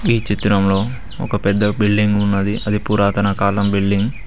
ఈ చిత్రంలో ఒక పెద్ద బిల్డింగ్ ఉన్నది అది పురాతన కాలం బిల్డింగ్ .